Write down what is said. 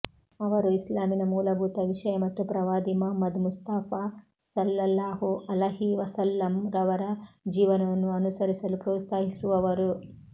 ಅವರು ಇಸ್ಲಾಮಿನ ಮೂಲಭೂತ ವಿಷಯ ಮತ್ತು ಪ್ರವಾದಿ ಮಹಮ್ಮದ್ ಮುಸ್ತಫಾ ಸಲ್ಲಲ್ಲಾಹು ಅಲಹಿವಸಲ್ಲಂ ರವರ ಜೀವನವನ್ನು ಅನುಸರಿಸಲು ಪ್ರೋತ್ಸಾಹಿಸುವವರು